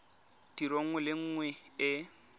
tiro nngwe le nngwe e